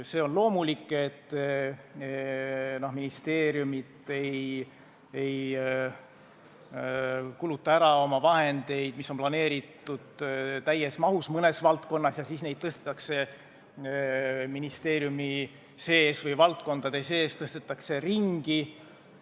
See on loomulik, et ministeeriumid ei kuluta oma vahendeid, mis on planeeritud, täies mahus ära ja siis neid tõstetakse ministeeriumi või valdkondade sees ringi.